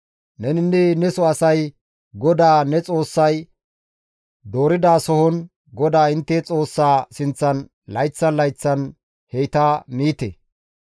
Neninne neso asay GODAA ne Xoossay dooridasohon GODAA intte Xoossaa sinththan layththan layththan heyta miite.